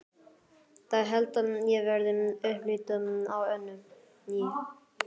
Það held ég verði upplit á Önnu í